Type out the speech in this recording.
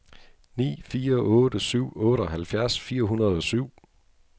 ni fire otte syv otteoghalvfjerds fire hundrede og syv